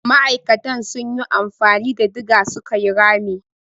Ma'akatan sun yi amfani da diga su ka yi rami.